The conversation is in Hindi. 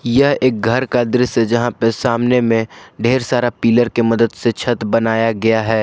यह एक घर का दृश्य है यहां पे सामने में ढेर सारा पिलर के मदद से छत बनाया गया है।